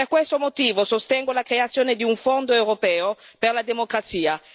Per questo motivo sostengo la creazione di un fondo europeo per la democrazia.